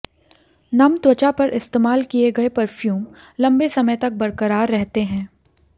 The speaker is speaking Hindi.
नम त्वचा पर इस्तेमाल किए गए परफ्यूम लंबे समय तक बरकरार रहते हैं